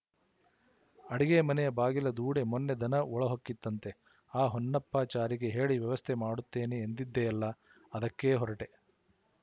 ಅಡಿಗೆಮನೆಯ ಬಾಗಿಲ ದೂಡಿ ಮೊನ್ನೆ ದನ ಒಳಹೊಕ್ಕಿತಂತೆ ಆ ಹೊನ್ನಪ್ಪಾಚಾರಿಗೆ ಹೇಳಿ ವ್ಯವಸ್ಥೆ ಮಾಡುತ್ತೇನೆ ಎಂದಿದ್ದೆಯಲ್ಲ ಅದಕ್ಕೇ ಹೊರಟೆ